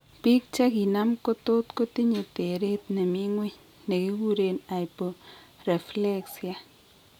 Bik chiginam ko tot kotinye teret nemi ng'weny negiguren hyporeflexia